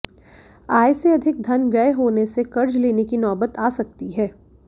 आय से अधिक धन व्यय होने से कर्ज लेने की नौबत आ सकती है